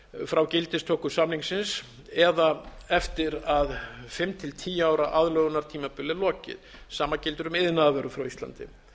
frá gildistöku samningsins eða eftir að fimm til tíu ára aðlögunartímabili er lokið sama gildir um iðnaðarvörur frá íslandi